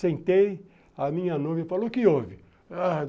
Sentei, a minha noiva falou, o que houve?